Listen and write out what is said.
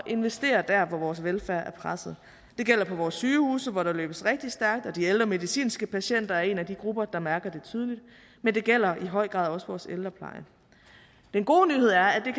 investere der hvor vores velfærd er presset det gælder på vores sygehuse hvor der løbes rigtig stærkt de ældre medicinske patienter er en af de grupper der mærker det tydeligt men det gælder i høj grad også vores ældrepleje den gode nyhed er at det